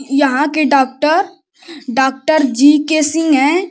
यहाँ के doctor doctor G K Singh है ।